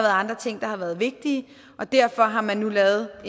andre ting der har været vigtige og derfor har man nu lavet